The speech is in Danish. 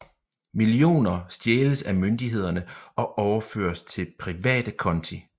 Millioner stjæles af myndighederne og overføres til private konti